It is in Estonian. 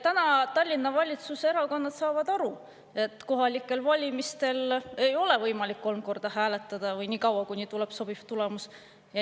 Nüüd saavad Tallinna valitsevad erakonnad aru, et kohalikel valimistel ei ole võimalik kolm korda ehk nii kaua hääletada, kuni tuleb sobiv tulemus.